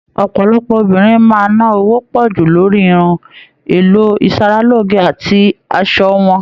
Ọpọlọpọ obìnrin máa ná owó pọju lórí irun, èlò isaraloge àti aṣọ wọn.